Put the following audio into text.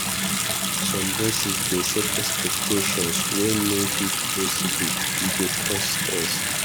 Some bosses dey set expectations wey no fit possible; e dey cause stress.